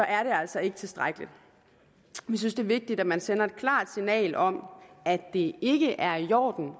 er det altså ikke tilstrækkeligt vi synes det er vigtigt at man sender et klart signal om at det ikke er i orden